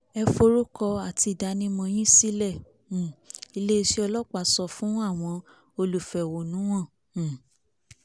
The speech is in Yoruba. ẹ forúkọ àti ìdánimọ̀ yín sílẹ̀ um iléeṣẹ́ ọlọ́pàá sọ fún àwọn olùfẹ̀hónúhàn um